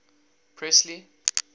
presley